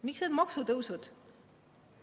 Miks need maksutõusud?